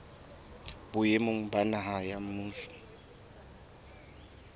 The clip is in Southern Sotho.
boemong ba naha ba mmuso